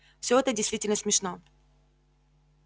вот это действительно смешно